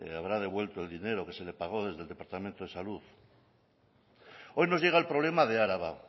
habrá devuelto el dinero que se le pagó desde el departamento de salud hoy nos llega el problema de araba